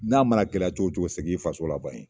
N'a mana gɛlɛya cogo cogo segin i faso la ban in.